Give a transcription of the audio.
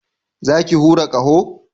Za ki hura ƙaho?